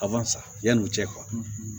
A b'an sa yanni u cɛ